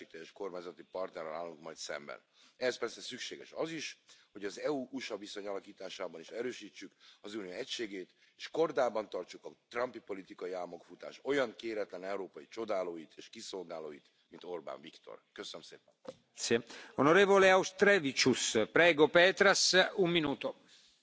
Mr President, I voted in favour of this report because we need a new settlement with the USA, not just because of Trump's politics and the way he is attacking the EU and our steel and aluminium industries but also because we don't have the global rules and governance we need to tackle the challenges we all face, from sustainable development to security, without the USA at the table. So we need to do more than just talk to them.